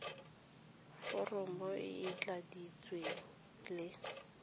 foromo e e tladitsweng le